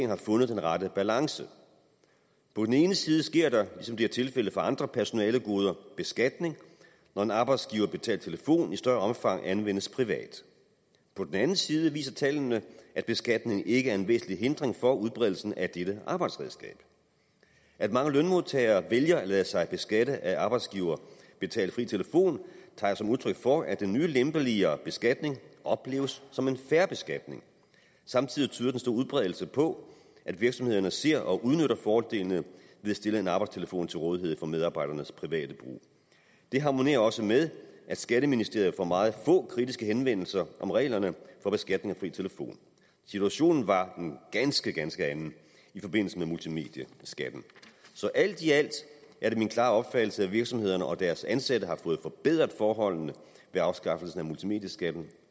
har fundet den rette balance på den ene side sker der ligesom det er tilfældet for andre personalegoder beskatning når en arbejdsgiverbetalt telefon i større omfang anvendes privat på den anden side viser tallene at beskatningen ikke er en væsentlig hindring for udbredelsen af dette arbejdsredskab at mange lønmodtagere vælger at lade sig beskatte af arbejdsgiverbetalt fri telefon tager jeg som udtryk for at den nye lempeligere beskatning opleves som en fair beskatning samtidig tyder den store udbredelse på at virksomhederne ser og udnytter fordele ved at stille en arbejdstelefon til rådighed for medarbejdernes private brug det harmonerer også med at skatteministeriet får meget få kritiske henvendelser om reglerne for beskatning af fri telefon situationen var en ganske ganske anden i forbindelse med multimedieskatten så alt i alt er det min klare opfattelse at virksomhederne og deres ansatte har fået forbedret forholdene ved afskaffelsen af multimedieskatten